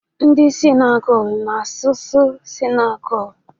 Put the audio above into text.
Ndị Sinigalu na-asụsụ Sinigalu